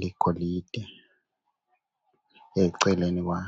liyigolide eceleni kwawo